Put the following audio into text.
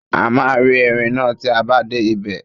A máa rí erin náà tí a bá dé ibẹ̀.